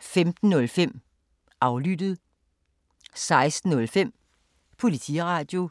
15:05: Aflyttet 16:05: Politiradio